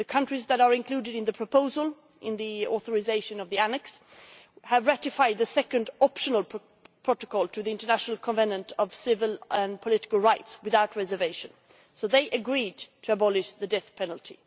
The countries that are included in the proposal, in the authorisation of the annex, have ratified the second optional protocol to the International Covenant on Civil and Political Rights without reservation, so they agreed to abolish the death penalty.